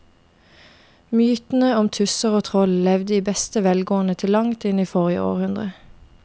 Mytene om tusser og troll levde i beste velgående til langt inn i forrige århundre.